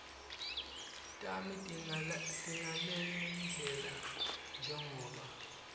tami tingalendlela njengobe